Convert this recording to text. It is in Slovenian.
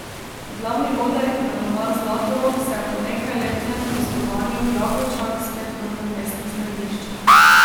Glavni oder imenovan Zlatorog se je po nekajletnem gostovanju v Jagočah spet vrnil v mestno središče.